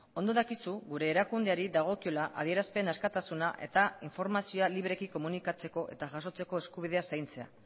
ondo dakizu gure erakundeari dagokiola adierazpen askatuduna eta informazioa libreki komunikatzeko eta jasotzeko eskubidea zaintzen